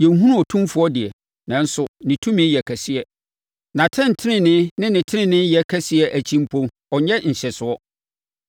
Yɛnhunu Otumfoɔ deɛ, nanso ne tumi yɛ kɛseɛ; nʼatɛntenenee ne teneneeyɛ kɛseɛ akyi mpo ɔnyɛ nhyɛsoɔ.